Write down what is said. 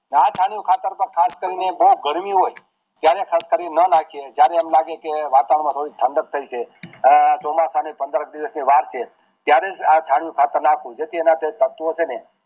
છાણીયું ખાતર ખાસ કરી ને બોઘાણીયું હોય ત્યારે ખાસ કરીને ન નાખીયે જયારે એમ લાગે કે વાતાવરણ મા થોડીક ઠંડક થય છે અઅ ચોમાસા ને પંદર દિવસ ની વાર છે ત્યારે જ આ છાણીયું ખાતર નાખવું જેથી એના જે તત્વો છે ને